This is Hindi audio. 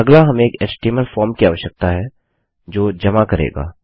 अगला हमें एक एचटीएमएल फॉर्म की आवश्यकता है जो जमा करेगा